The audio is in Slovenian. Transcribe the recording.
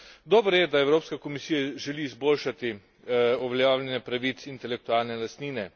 Dobro je, da Evropska komisija želi izboljšati uveljavljanje pravic intelektualne lastnine.